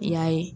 I y'a ye